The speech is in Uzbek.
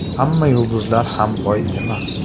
Hamma yulduzlar ham boy emas.